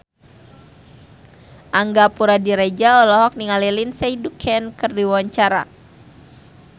Angga Puradiredja olohok ningali Lindsay Ducan keur diwawancara